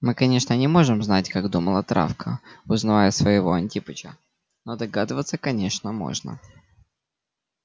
мы конечно не можем знать как думала травка узнавая своего антипыча но догадываться конечно можно